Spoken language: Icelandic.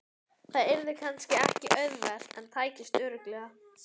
Það yrði kannski ekki auðvelt en tækist örugglega.